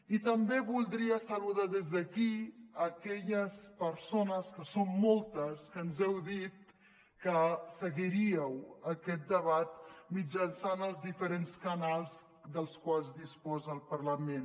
i també voldria saludar des d’aquí aquelles persones que són moltes que ens heu dit que seguiríeu aquest debat mitjançant els diferents canals dels quals disposa el parlament